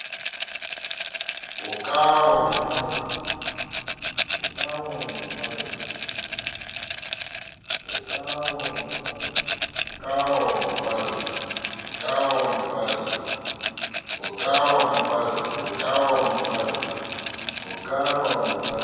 o ka wa mo palla